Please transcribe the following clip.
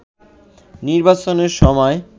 নির্বাচনের সময়